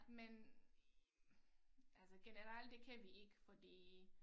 Men altså generelt det kan vi ikke fordi